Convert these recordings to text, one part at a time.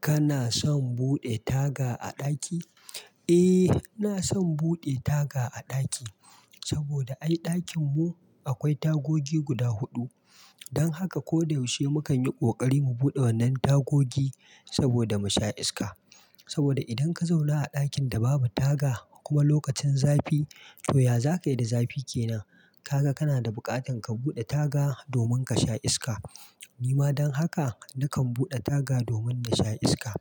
Kana son buɗe taga a ɗaki? Eh, ina son buɗe taga a ɗaki saboda ai a ɗakin mu akwai tagogi guda huɗu. Don haka ko da yaushe mukan yi ƙoƙari mu buɗe wannan tagogi saboda mu sha iska. Saboda idan ka zauna a ɗakin da babu taga kuma lokacin zafi, to ya zaka yi da zafi kenan? Kaga kana da buƙatar ka buɗe taga domin ka sha iska. Ni ma don haka nakan buɗe taga domin na sha iska.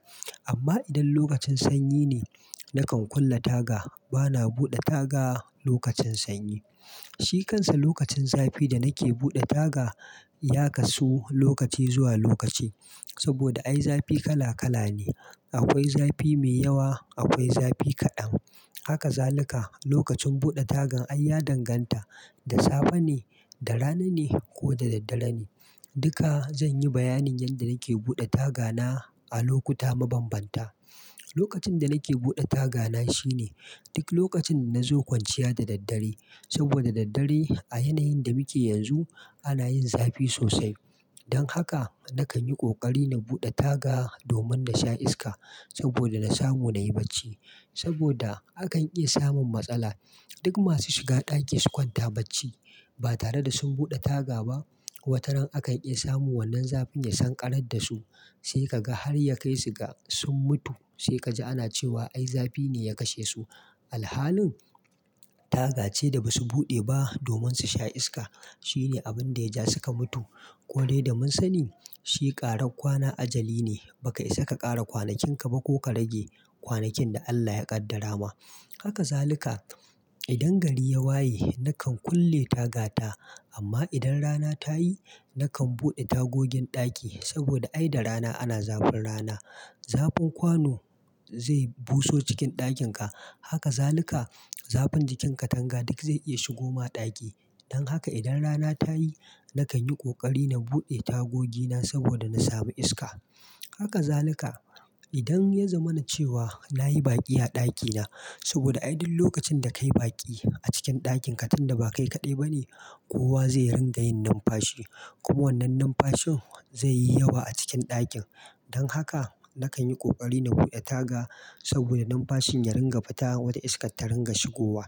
Amma idan lokacin sanyi ne, nakan kulle taga. Bana buɗe taga lokacin sanyi. Shikansa lokacin zafi da nake buɗe taga ya kasu lokaci zuwa lokaci. Saboda ai zafi kala kala ne. Akwai zafi mai yawa, akwai zafi kaɗan. Haka zalika. Lokacin buɗe tagan ai ya danganta da safe ne, da rana ne ko da daddare ne. Duka zan yi bayanin yadda nake buɗe tagana a lokuta mabambanta. Lokacin da nake buɗe tagana shine duk lokacin da na zo kwanciya da daddare. Saboda daddare a yanayin da muke yanzu ana yin zafi sosai. Don haka nakan yi ƙoƙari na buɗe taga domin na sha iska saboda na samu na yi bacci. Saboda akan iya samun matsala. Duk masu shiga ɗaki su kwanta bacci ba tare da sun buɗe taga ba, wataran akan iya samun wannan zafin ya san ƙarar da su sai ka ga har ya kai su ga sun mutu. Sai ka ji ana cewa ai zafi ne ya kashe su. Alhalin taga ce da basu buɗe ba domin su sha iska. Shine abin da ya ja suka mutu. Ko dai da mun sani shi ƙarar kwana ajali ne, ba ka isa ka ƙara kwanakin ka ba ko ka rage kwanakin da Allah ya ƙaddara ma. Haka zalika. Idan gari ya waye nakan kulle tagata amma idan rana ta yi nakan buɗe tagogin ɗaki saboda ai da rana ana zafin rana. Zafin kwano zai buso cikin ɗakin ka. Haka zalika. Zafin jikin katanga duk zai iya shigoma ɗaki. Don haka idan rana ta yi nakan yi ƙoƙari na buɗe tagogi na saboda na samu iska. Haka zalika. Idan ya zama na ce wa na yi baƙi a ɗakina saboda ai duk lokacin da ka yi baƙi a cikin ɗakin ka tunda ba kai kaɗai ba ne, kowa zai ringa yin numfashi kuma wannan numfashin zai yi yawa a cikin ɗakin. Don haka nakan yi ƙoƙari na buɗe taga saboda numfashin ya ringa fita wata iska ta ringa shigowa.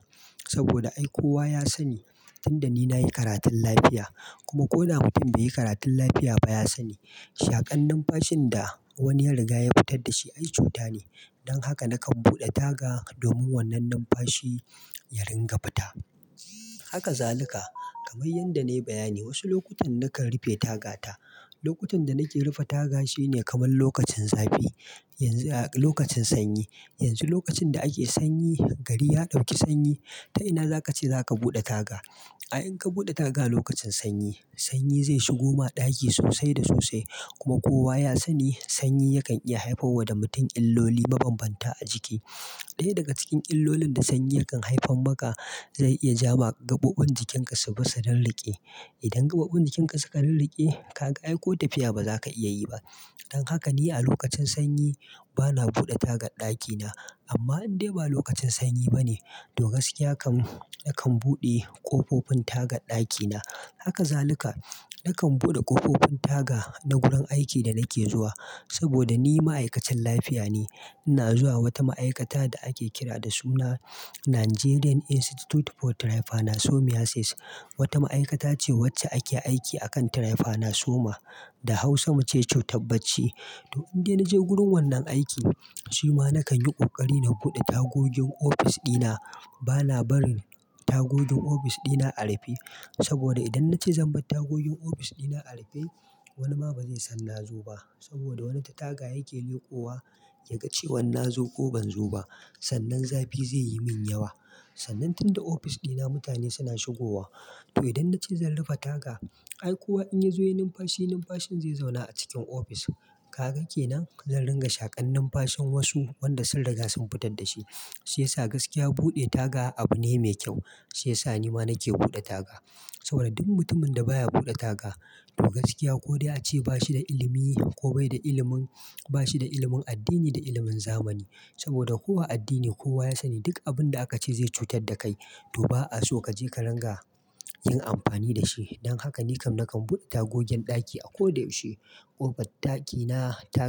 Saboda ai kowa ya sani tunda ni na yi karatun lafiya kuma ko na mutum bai yi karatun lafiya ba, ya sani shaƙan numfashin da wani ya riga ya fitar da shi ai cuta ne. Don haka nakan buɗe taga domin wannan numfashi ya ringa fita. Haka zalika. Kaman yadda na yi bayani wasu lokutan nakan rufe tagata. Lokutan da nake rufe taga shine kamar lokacin zafi. Yanzu a lokacin sanyi. Yanzu lokacin da ake sanyi, gari ya ɗauki sanyi, ta ina zaka ce za ka buɗe taga? Ai in ka buɗe taga lokacin sanyi, sanyi zai shigoma ɗaki sosai da sosai. Kuma kowa ya sani sanyi yakan iya haifar wa da mutum illoli mabambanta a jiki. Ɗaya daga cikin illolin da sanyi kan haifar maka zai iya ja ma gaɓoɓin jikin ka su fasa don riƙe. Idan gaɓoɓin jikin ka suka rirrike, kaga aiko tafiya ba za ka iya yi ba. Don haka ni a lokacin sanyi bana buɗe taga ɗakina. Amma idan bai lokacin sanyi ba ne, to gaskiya kan nakan buɗe ƙofofin taga ɗakina. Haka zalika. Nakan buɗe ƙofofin taga na gurin aikin da nake zuwa saboda ni ma'aikacin lafiya ne. Ina zuwa wata ma'aikata da ake kira da suna Nigerian Institute for Trypanosomiasis. Wata ma'aikata ce wacce ake aiki a kan trypanosoma da hausa muce cutar bacci. To idan na je wurin wannan aiki shi ma nakan yi ƙoƙari na buɗe tagogin ofis ɗina. Bana barin tagogin ofis ɗina a rufe saboda idan na ce zan bar tagogin ofis ɗina a rufe wani ma ba zai san na zo ba. Saboda wani ta taga yake leƙowa ya ga cewan na zo ko ban zo ba. Sannan zafi zai yi min yawa. Sannan tunda ofis dina mutane suna shigowa. To idan na ce zan rufe taga, ai kowa in ya zo yin numfashi, numfashin zai zauna a cikin ofis. Kaga kenan? Zan ringa shaƙan numfashin wasu wanda sun riga sun fitar da shi. Shi yasa gaskiya buɗe taga abu ne mai kyau. Shi yasa ni ma nake buɗe taga. Saboda duk mutumin da baya buɗe taga to gaskiya ko dai a ce bashi da ilimi ko bai da ilimin, bashi da ilimin addini da ilimin zamani. Saboda kowa addini kowa ya sani duk abin da aka ce zai cutar da kai to ba'a so ka je ka ringa yin amfani da shi. Don haka ni kam nakan buɗe tagogin ɗaki a ko da yaushe. Kofan ɗakina ta.